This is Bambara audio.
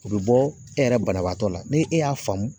O be bɔ e yɛrɛ banabaatɔ la, ni e y'a faamu